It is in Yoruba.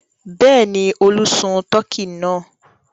Bẹ́ẹ̀ ni, Olú sun tọkí náà.